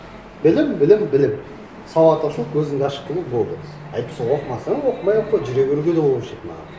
білім білім білім сауат ашу көзіңді ашық қылу болды әйтпесе оқымасаң оқымай ақ қой жүре беруге де болушы еді маған